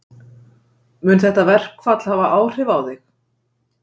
Mun þetta verkfall hafa áhrif á þig?